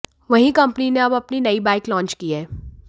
वहीं कंपनी ने अब अपनी नई बाइक लॉन्च की है